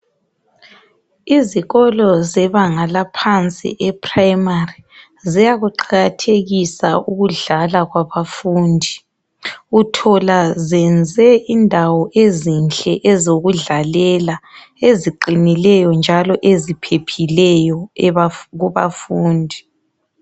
Izikolo zebanga laphansi ephrayimari ziyaku qakathekisa ukudlala kwabafundi uthola ziyenze indawo ezinhle ezokudlalela eziqinileyo njalo eziphephileyo kubafundi.